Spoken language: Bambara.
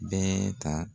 Bɛɛ ta